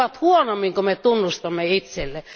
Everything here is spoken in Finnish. Ne ovat huonommin kuin me tunnustamme itsellemme.